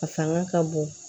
A fanga ka bon